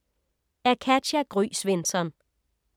Af Katja Gry Svensson